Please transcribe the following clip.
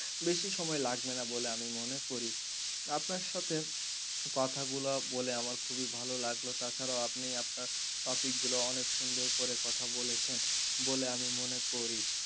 বেশি সময় লাগবে না বলে আমি মনে করি আপনার সাথে কথা গুলা বলে আমার খুবই ভালো লাগলো তাছাড়াও আপনি আপনার topic গুলো অনেক সুন্দর করে কথা বলেছেন বলে আমি মনে করি।